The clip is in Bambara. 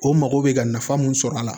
O mago bɛ ka nafa mun sɔrɔ a la